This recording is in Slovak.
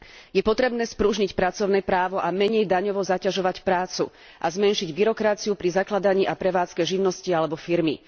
Je potrebné spružniť pracovné právo a menej daňovo zaťažovať prácu, a zmenšiť byrokraciu pri zakladaní a prevádzke živnosti alebo firmy.